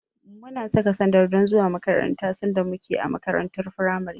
Muna saka sandal don zuwa makaranta sanda muke a makarantar firamare.